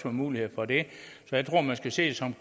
mulighed for det så jeg tror at man skal se det som